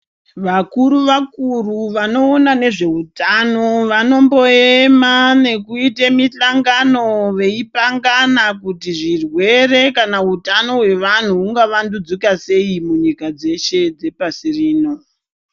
Vakuru vakuru vanoona nezvehutano vanomboema veita mihlangano veipangana zvirwere kana hutano hwevantu svika sei munyika dzese dzepasi rino.